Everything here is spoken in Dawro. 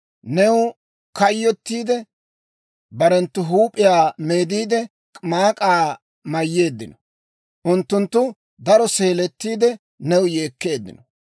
New kayyottiide, barenttu huup'iyaa meediide, maak'aa mayyeeddino; unttunttu daro seeletiidde, new yeekkeeddino.